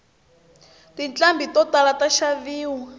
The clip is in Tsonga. tinqhambi to tala ta xaveriwa